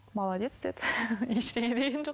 молодец деді ештеңе деген жоқ